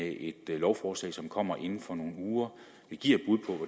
i et lovforslag som kommer inden for nogle uger vi giver